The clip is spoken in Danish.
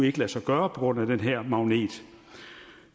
ikke lade sig gøre på grund af den her magnet